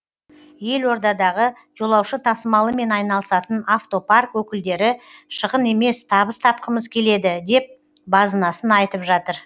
елордадағы жолаушы тасымалымен айналысатын автопарк өкілдері шығын емес табыс тапқымыз келеді деп базынасын айтып жатыр